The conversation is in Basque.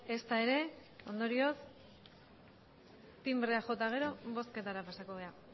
ezta ere ondorioz tinbrea jo eta gero bozketara pasako gara